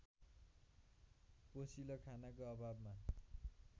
पोषिलो खानाको अभावमा